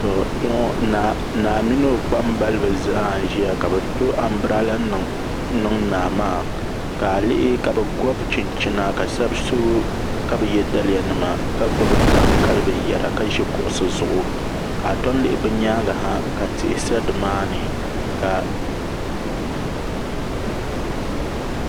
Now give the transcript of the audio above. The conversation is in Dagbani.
Naa mini o kpambalibi zaa n ʒiya ka bi to anbirala niŋ naa maa ka a lihi ka bi gobi chinchina ka shab so ka bi yɛ daliya nima ka gbubi daŋ kali binyɛra ka ʒi kuɣusi zuɣu ka a tom lihi bi nyaangi ha ka tihi sa dimaani ka